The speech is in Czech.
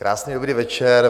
Krásný dobrý večer.